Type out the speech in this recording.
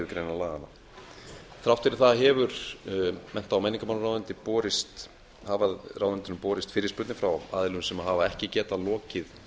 þriðju grein laganna þrátt fyrir það hafa mennta og menningarmálaráðuneyti borist fyrirspurnir frá aðilum sem hafa ekki getað lokið